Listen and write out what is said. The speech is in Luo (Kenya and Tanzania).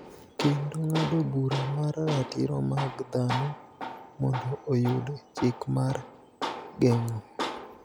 kendo ng�ado bura mar Ratiro mag Dhano mondo oyud chik mar geng�o.